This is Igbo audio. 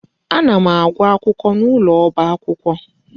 Ana m agụ akwụkwọ n'ụlọ ọba akwụkwọ.